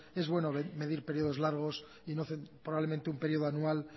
es bueno medir periodos largos y probablemente un periodo anual